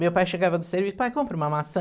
Meu pai chegava do serviço, pai, compra uma maçã.